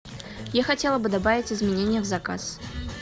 я хотела бы добавить изменения в заказ